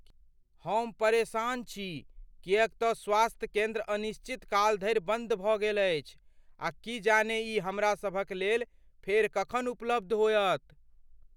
हम परेशान छी किएक तऽ स्वास्थ्य केन्द्र अनिश्चितकाल धरि बन्द भऽ गेल अछि आ की जाने ई हमरा सभक लेल फेर कखन उपलब्ध होयत।